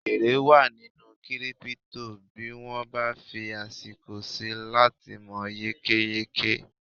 èrè wa nínú kírípítò bí wọ́n bá fí àsìkò síi láti mọ̀ yékéyéké